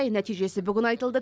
нәтижесі бүгін айтылды